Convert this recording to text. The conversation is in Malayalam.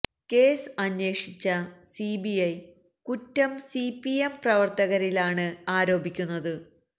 കേസ് അന്വേഷിച്ച സി ബി ഐ കുറ്റം സി പി എം പ്രവര്ത്തകരിലാണ് ആരോപിക്കുന്നത്